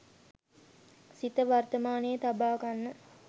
සිත වර්තමානයේ තබාගන්න